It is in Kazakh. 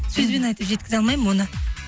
сөзбен айтып жеткізе алмаймын оны